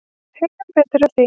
Heyrum betur af því.